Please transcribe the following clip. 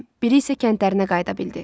Biri isə kəndlərinə qayıda bildi.